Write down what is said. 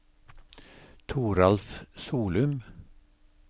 Toralf Solum